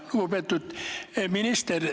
Lugupeetud minister!